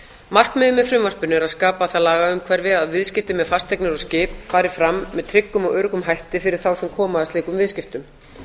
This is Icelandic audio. markmiðið með frumvarpinu er að skapa það lagaumhverfi að viðskipti með fasteignir og skip fari fram með tryggum og öruggum hætti fyrir þá sem koma að slíkum viðskiptum